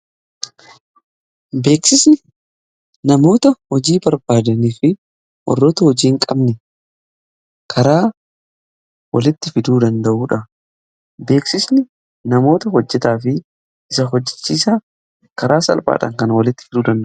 beeksisni namoota hojii barbaadanii fi warroota hojiiin qabne karaa walitti fiduu danda'uudha. beeksisni namoota hojjetaa fi isa hojjechiisa karaa salpaadhan kan walitti fiduu danda'udha.